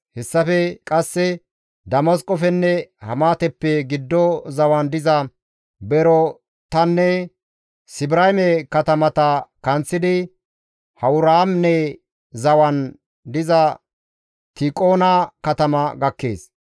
Hessafe qasse Damasqofenne Hamaateppe giddo zawan diza Berootanne Sibrayme katamata kanththidi Hawuraane zawan diza Tiikona katama gakkees.